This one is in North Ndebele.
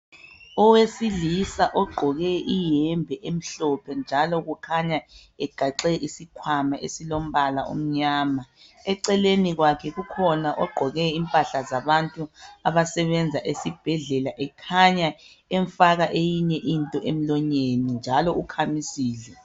Owesilisa ogqoke iyembe emhlophe njalo kukhanya egaxe isikhwama esilombala omnyama. Eceleni kwakhe kukhona ogqoke impahla zabantu abasebenza esibhedlela ekhanya emfaka eyinye into emlonyeni njalo ukhamisile.